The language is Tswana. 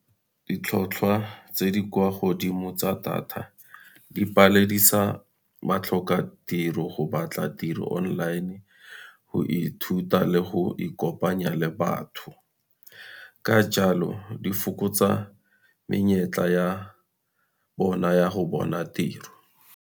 Ditlhotlhwa tse di kwa godimo tsa data, di paledisa batlhokatiro go batla tiro online, go ithuta le go ikopanya le batho. Ka jalo, di fokotsa menyetla ya bona ya go bona tiro.